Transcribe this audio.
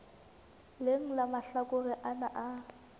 leng la mahlakore ana a